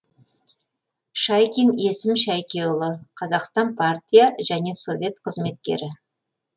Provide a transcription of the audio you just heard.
шайкин есім шайкеұлы қазақстан партия және совет қызметкері